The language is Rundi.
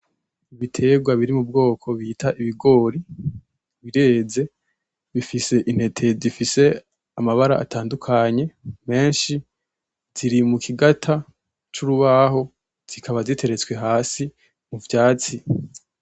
Ibiterwa biri mu bwoko bita ibigori bireze, bifise intete zifise amabara atadukanye menshi, ziri mu kigata c'urubaho, zikaba ziteretswe hasi muvyatsi .